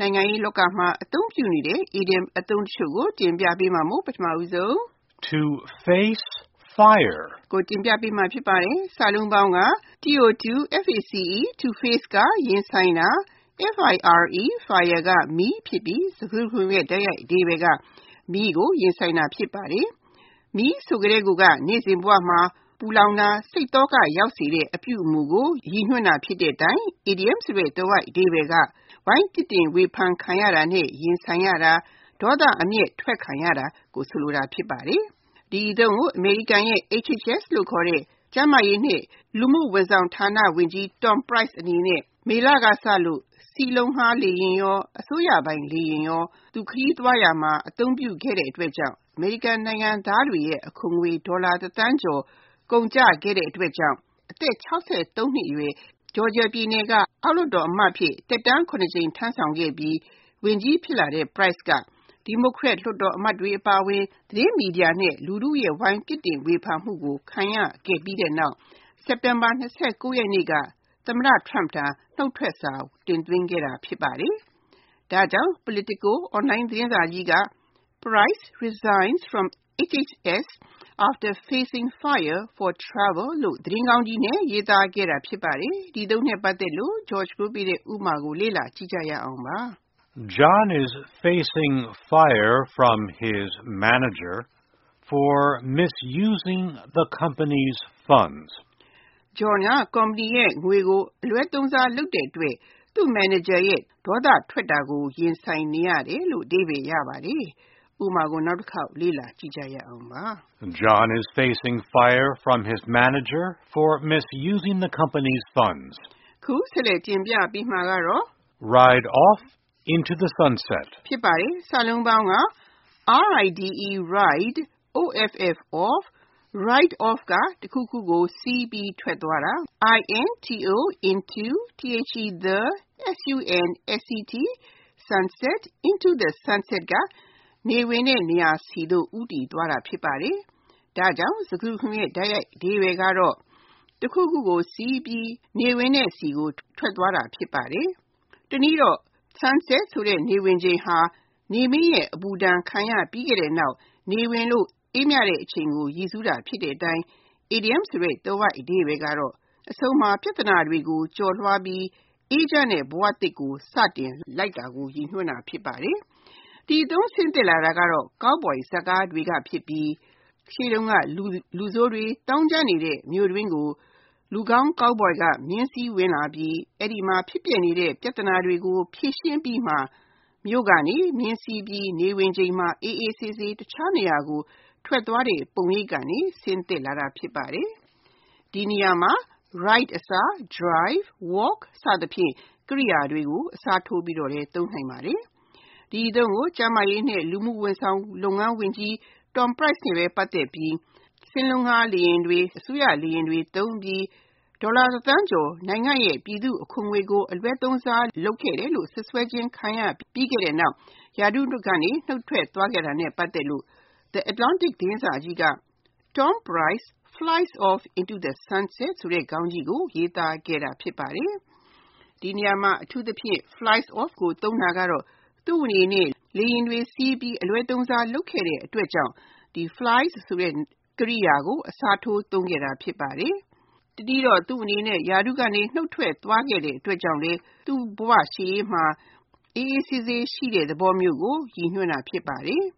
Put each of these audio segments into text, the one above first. နိုင်ငံရေးလောကမှာ သုံးနှုန်းနေတဲ့ အီဒီယံအသုံးတချို့ ဖြစ်တဲ့ To face fire, To ride off into the sunset နဲ့ To take the wheel တို့ကို တင်ပြထားပါတယ်။ (၁) To face fire To face (ရင်ဆိုင်တာ)၊ fire (မီး) ဖြစ်ပြီး၊ စကားစုတခုလုံးရဲ့ တိုက်ရိုက်အဓိပ္ပါယ်က မီးကိုရင်ဆိုင်တာ ဖြစ်ပါတယ်။ မီးဆိုကတည်းက နေ့စဉ်ဘဝမှာ ပူလောင်တဲ့၊ စိတ်သောကရောက်စေတဲ့ အပြုအမှုကို ရည်ညွှန်းတဲ့အတိုင်း အီဒီယံဆိုတဲ့ သွယ်ဝိုက်အဓိပ္ပါယ်က ဝိုင်းပြစ်တင်ဝေဖန်ခံရတာနဲ့ ရင်ဆိုင်ရတာ၊ ဒေါသအမျက်အထွက်ခံရတာကို ဆိုလိုတာ ဖြစ်ပါတယ်။ ဒီအသုံးကို အမေရိကန်ရဲ့ HHS (Health and Human Services) လို့ခေါ်တဲ့ ကျန်းမာရေးနဲ့ လူမှုဝန်ဆောင်လုပ်ငန်းဌါနဝန်ကြီး Tom Price အနေနဲ့ မေလကစလို့ စင်းလုံးငှားလေယာဉ်တွေ နဲ့ အစိုးရပိုင်လေယာဉ်တွေကို သူ ခရီးသွားရာမှာ အသုံးပြုခဲ့တဲ့အတွက် အမေရိကန်နိုင်ငံသားတွေရဲ့ အခွန်ငွေ ဒေါ်လာတစ်သန်းကျော် ကုန်ကျခဲ့တဲ့အတွက်ကြောင့် အသက် (၆၃) နှစ်အရွယ် Georgia ပြည်နယ်က အောက်လွှတ်တော်အမတ်အဖြစ် သက်တမ်း (၇) ကြိမ် ထမ်းဆောင်ခဲ့ပြီး ဝန်ကြီးဖြစ်လာတဲ့ Price အနေနဲ့ ဒီမိုကရက်လွှတ်တော်အမတ်တွေ အပါအဝင် သတင်းမီဒီယာ နဲ့ လူထုရဲ့ ဝိုင်းပြစ်တင်ဝေဖန်မှုကို ခံခဲ့ရပြီးနောက် စက်တင်ဘာ (၂၉) ရက်နေ့က သမ္မတ Trump ထံ နှုတ်ထွက်စာ တင်သွင်းခဲ့တာ ဖြစ်ပါတယ်။ ဒါကြောင့် Politico Online သတင်းစာကြီးက Price resigns from HHS after facing fire for travel လို့ သတင်းခေါင်းကြီးနဲ့ ရေးသားခဲ့တာ ဖြစ်ပါတယ်။ ဒီအသုံးနဲ့ပတ်သက်တဲ့ ဥပမာကို လေ့လာကြည့်ရအောင်ပါ။ John is facing fire from his manager for misusing the company’s funds. John က ကုမ္ပဏီရဲ့ ငွေကို အလွဲသုံးစားလုပ်တဲ့အတွက် သူ့မန်နေဂျာရဲ့ ဒေါသထွက်တာကို ခံနေရတယ်။ (၂) To ride off into the sunset Ride off (တခုခုကို စီးပြီး ထွက်သွားတာ)၊ into the sunset (နေဝင်တဲ့နေရာဆီသို့ ဦးတည်သွားတာ ဖြစ်ပါတယ်)ဖြစ်ပြီး ၊ စကားစုတခုလုံးရဲ့ တိုက်ရိုက်အဓိပ္ပါယ်က တခုခုကိုစီးပြီး နေဝင်တဲ့ဆီကို ဦးတည်ထွက်သွားတာ ဖြစ်ပါတယ်။ တနည်းတော့ Sunset ဆိုတဲ့ နေဝင်ချိန်ဟာ နေမင်းရဲ့ အပူဒဏ်ခံရပြီးနောက် နေဝင်လို့ အေးမြတဲ့အချိန်ကို ရည်းစူးတာ ဖြစ်တဲ့အတိုင်း အီဒီယံဆိုတဲ့ သွယ်ဝိုက်အဓိပ္ပါယ်က အဆုံးမှာ ပြဿနာတွေကို ကျော်လွှားပြီး အေးချမ်းတဲ့ဘဝသစ်ကို စတင်လိုက်တာကို ရည်ညွှန်းတာ ဖြစ်ပါတယ်။ ဒီအသုံးဆင်းသက်လာတာက Cowboy ဇာတ်ကားတွေကဖြစ်ပြီး ၊ လူဆိုးတွေ သောင်းကျန်းနေတဲ့ မြို့တွင်းကို လူကောင်း Cowboy က မြင်းစီးဝင်လာပြီး အဲဒီမှာ ဖြစ်ပျက်နေတဲ့ ပြဿနာတွေကို ဖြေရှင်းအပြီး၊ မြို့ကနေ မြင်းစီးပြီး နေဝင်ချိန်မှာ အေးအေးဆေးဆေး တခြားနေရာကို ထွက်သွားတဲ့ ပုံရိပ်ကနေ ဆင်းသက်လာတာ ဖြစ်ပါတယ်။ ဒီနေရာမှာ Ride အစား Drive, Walk စအစရှိတဲ့ ကြိယာတွေကိုလည်း အစားထိုးပြီး သုံးနိုင်ပါတယ်။ ဒီအသုံးကို ကျန်းမာရေးနဲ့ လူမှုဝန်ဆောင်လုပ်ငန်းဌါနဝန်ကြီး Tom Price က စင်းလုံးငှားလေယာဉ်တွေ၊ အစိုးရလေယာဉ်တွေသုံးပြီး ဒေါ်လာ တစ်သန်းကျော်ပြည်သူ့အခွန်ငွေကို အလွဲသုံးစား လုပ်ခဲ့တယ်လို့ စွပ်စွဲခြင်းခံရပြီးနောက် ရာထူးကနေ နှုတ်ထွက်သွားခဲ့တာနဲ့ ပတ်သက်လို့ The Atlantic သတင်းစာကြီးက Tom Price flies off into the sunset ခေါင်းကြီးကို ရေးသားခဲ့တာ ဖြစ်ပါတယ်။ ဒီနေရာမှာ Flies off ကို အသုံးပြုတာကတော့ သူ့အနေနဲ့ လေယာဉ်တွေစီးပြီး အလွဲသုံးစား လုပ်ခဲ့တဲ့အတွက်ကြောင့် Fly ဆိုတဲ့ ကြိယာကို အစားထိုးသုံးခဲ့တာ ဖြစ်ပါတယ်။ တနည်းတော့ လေယာဉ်ခရီးသွားကိစ္စတွေကြောင့်ရာထူးကနေ နှုတ်ထွက်ပေးခဲ့ရပြီးနောက်၊ ပြသနာရှုပ်ထွေး လှတဲ့ဝန်ကြီးတာဝန်တွေကိုစွန့်ခါ၊ ရှေ့ဘဝခရီး လေယာဉ်စီးပြီး အေးချမ်းတဲ့နေရာကိုသွားတဲ့သဘောမျိုးကို ရည်ညွှန်းတာ ဖြစ်ပါတယ်။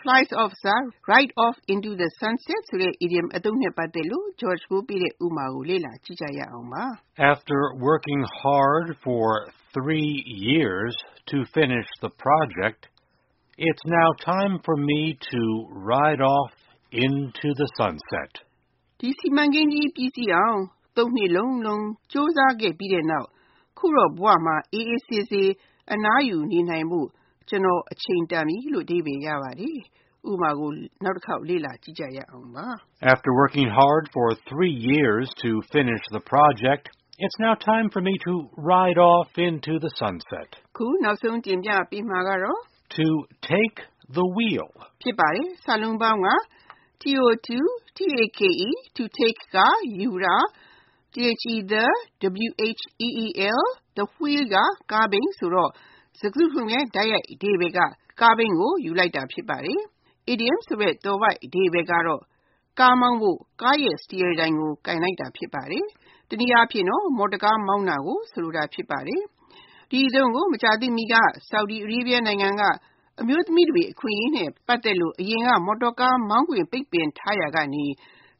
Fly off အစား Ride off into the sunset ဆိုတဲ့အီဒီယံအသုံးနဲ့ ပတ်သက်တဲ့ ဥပမာကို လေ့လာကြည့်ရအောင်ပါ။ After working hard for three years to finish the project, it’s now time for me to ride off into the sunset. ဒီစီမံကိန်းကြီး ပြီးစီးအောင် (၃) နှစ်လုံးလုံး ကြိုးစားခဲ့ပြီးနောက် အခုတော့ ဘဝမှာ အေးအေးဆေးဆေး အနားယူဖို့၊ ကျနော့်အတွက်အချိန်တန်ပြီ။ (၃) To take the wheel To take (ယူတာ)၊ the wheel (ကားဘီး) ဖြစ်ပြီး ၊ စကားစုတခုလုံးရဲ့ တိုက်ရိုက်အဓိပ္ပါယ်က ကားဘီးကို ယူလိုက်တာ ဖြစ်ပါတယ်။ အီဒီယံဆိုတဲ့ သွယ်ဝိုက်အဓိပ္ပါယ်က ကားမောင်းဖို့ ကားစတီယားတိုင်ကို ကိုင်လိုက်တာ ဖြစ်ပါတယ်။ တနည်းအားဖြင့် မော်တော်ကား မောင်းတာကို ဆိုလိုတာ ဖြစ်ပါတယ်။ ဒီအသုံးကို မကြာသေးမီက Saudi Arabia နိုင်ငံက အမျိုးသမီးတွေ အခွင့်ရေးနဲ့ ပတ်သက်လို့ အရင်က မော်တော်ကား မောင်းခွင့် ပိတ်ပင်ထားရာကနေ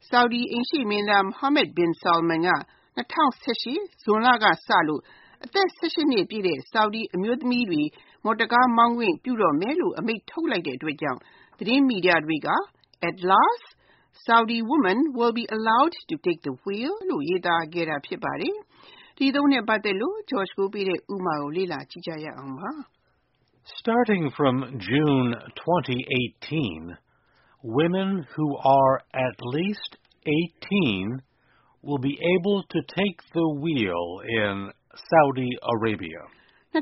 Saudi အိမ်ရှေ့မင်းသား Mohammad bin Salman က ၂၀၁၈ ဇွန်လကစလို့ အသက် (၁၈) နှစ်ပြည့်တဲ့ Saudi အမျိုးသမီးတွေကို မော်တော်ကားမောင်းခွင့်ပြုတော့မယ်လို့ အမိန့်ထုတ်လိုက်တဲ့အတွက်ကြောင့် သတင်းမီဒီယာတွေက At last Saudi women will be allowed to take the wheel လို့ ရေးသားခဲ့တာ ဖြစ်ပါတယ်။ ဒီအသုံးနဲ့ပတ်သက်တဲ့ ဥပမာကို လေ့လာကြည့်ရအောင်ပါ။ Starting from June 2018, Saudi women who are at least eighteen will be able to take the wheel in their country. ၂၀၁၈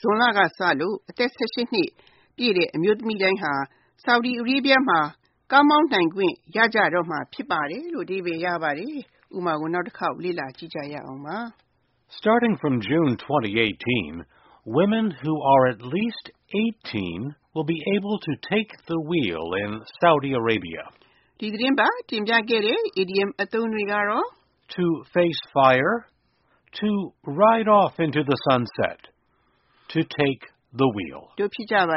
ဇွန်လကစလို့ အသက် (၁၈) နှစ်ပြည့်တဲ့ အ Saudi မျိုးသမီးတွေဟာ သူတို့နိုင်ငံမှာ ကားမောင်းခွင့်ရကြတော့မှာ ဖြစ်ပါတယ်။ ဒီသတင်းပတ် တင်ပြခဲ့တဲ့ idioms အသုံးတွေက To face fire, To ride off into the sunset နဲ့ To take the wheel တို့ ဖြစ်ကြပါ